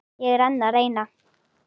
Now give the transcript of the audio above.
Ég er enn að reyna.